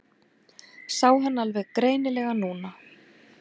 Sá hann alveg greinilega núna.